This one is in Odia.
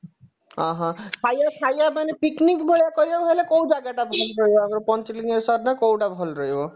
ଅ ହଁ ଖାଇବା ଖାଇବା ମାନେ picnic ଭଳିଆ କରିହବ ବୋଲେ କୋଉ ଜାଗାଟା ଭଲ ରହିବ ପଞ୍ଚଲିଙ୍ଗେଶ୍ଵର ନା କୋଉଟା ଭଲ ରହିବ